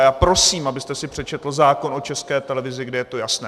A já prosím, abyste si přečetl zákon o České televizi, kde je to jasné.